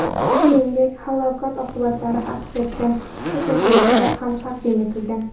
Shuningdek, halokat oqibatlari aks etgan fotosuratlar ham taqdim etilgan .